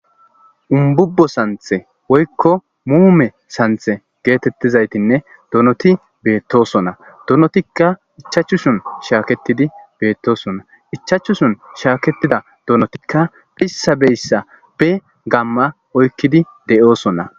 umbubbo santhe woykko muume santhe geetettizaytinne donoti beettosona donotikka ichachuson shaaketidi beettosona ichachuson shaaketida donotikka beyssa beyssa be gamma oykkidi de7oosona